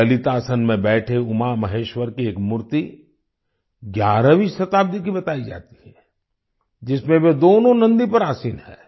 ललितासन में बैठे उमामहेश्वर की एक मूर्ति 11वीं शताब्दी की बताई जाती है जिसमें वह दोनों नंदी पर आसीन हैं